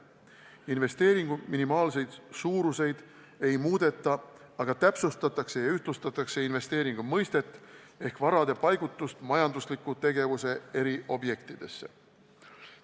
Investeeringu minimaalseid suurusi ei muudeta, aga täpsustatakse ja ühtlustatakse investeeringu mõistet ehk varade paigutust majandusliku tegevuse eri objektidesse.